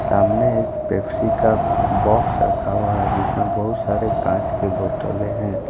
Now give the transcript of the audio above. सामने एक पेप्सी का बॉक्स रखा हुआ है जिसमें बहुत सारे कांच के बोतलें हैं।